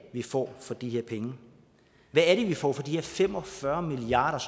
vi får for de her penge hvad er det vi får for de her fem og fyrre milliard